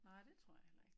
Nej det tror jeg heller ikke